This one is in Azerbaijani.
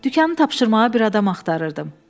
Dükanı tapşırmağa bir adam axtarırdım.